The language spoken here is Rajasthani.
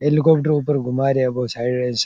हेलीकोप्टेर ऊपर घूम रहे है --